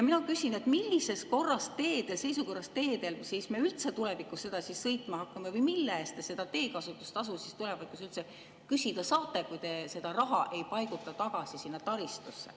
Mina küsin, millises seisukorras teedel siis me üldse tulevikus sõitma hakkame või mille eest te seda teekasutustasu siis tulevikus üldse küsida saate, kui te seda raha ei paiguta tagasi sinna taristusse.